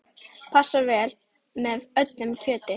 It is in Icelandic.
Passar vel með öllu kjöti.